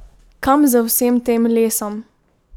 Kam z vsem tem lesom?